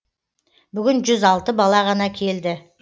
бүгін жүз алты бала ғана келді